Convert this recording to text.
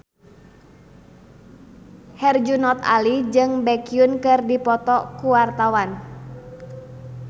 Herjunot Ali jeung Baekhyun keur dipoto ku wartawan